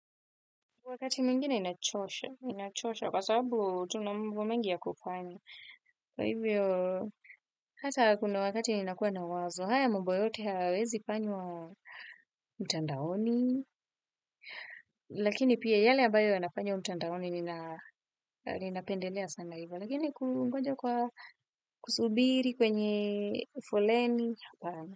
Wakati miyngine inachosha, inachosha kwa sababu tuna mambo mengi ya kupanya. Kwa hivyo, hata kuna wakati nnakuwa na wazo, haya mambo yote hayawezi fanywa mtandaoni. Lakini pia yale ambayo yanafanywa mtandaoni, ninapendelea sana hivyo. Lakini kungonja kwa kusubiri kwenye folleni.